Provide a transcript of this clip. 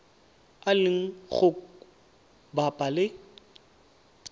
a leng go bapa le